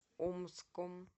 омском